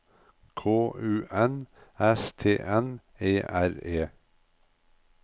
K U N S T N E R E